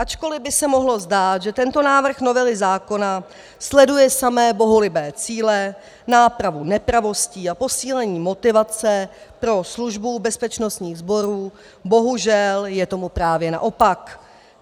Ačkoliv by se mohlo zdát, že tento návrh novely zákona sleduje samé bohulibé cíle, nápravu nepravostí a posílení motivace pro službu bezpečnostních sborů, bohužel je tomu právě naopak.